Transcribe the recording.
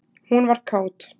Hún var kát.